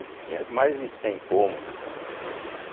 Ele tinha mais de cem incômodos lá, né?